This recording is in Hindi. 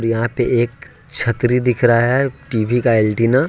यहां पे एक छतरी दिख रहा है टी_वी का एंटीना --